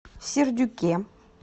сердюке